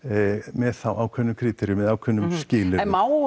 með þá ákveðnum ákveðnum skilyrðum má